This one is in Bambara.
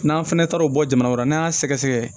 N'an fɛnɛ taara o bɔ jamana wɛrɛ la n'an y'a sɛgɛ sɛgɛ